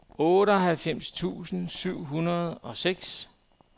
otteoghalvfems tusind syv hundrede og seks